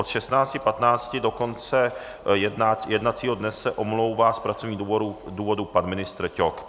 Od 16.15 do konce jednacího dne se omlouvá z pracovních důvodů pan ministr Ťok.